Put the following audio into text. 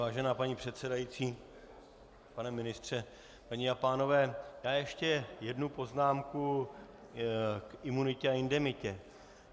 Vážená paní předsedající, pane ministře, paní a pánové, já ještě jednu poznámku k imunitě a indemnitě.